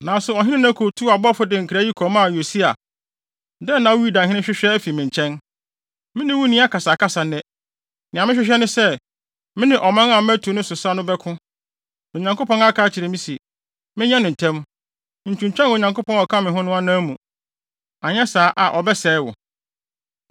Nanso ɔhene Neko tuu abɔfo de nkra yi kɔmaa Yosia: “Dɛn na wo Yudahene hwehwɛ afi me nkyɛn? Me ne wo nni akasakasa nnɛ! Nea mehwehwɛ ne sɛ, me ne ɔman a matu ne so sa no bɛko. Na Onyankopɔn aka akyerɛ me se, menyɛ no ntɛm. Ntwintwan Onyankopɔn a ɔka me ho no anan mu, anyɛ saa a ɔbɛsɛe wo.”